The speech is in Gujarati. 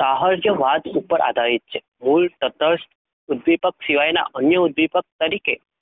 સાહર વાત ઉપર આધારિત છે? મુલ્ય સતત, ઉદ્દીપક દ્વારા ઉધિપ તરીકે